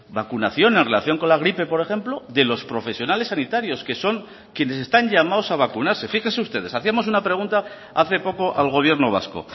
vacunación en relación con la gripe por ejemplo de los profesionales sanitarios que son quienes están llamados a vacunarse fíjese ustedes hacíamos una pregunta hace poco al gobierno vasco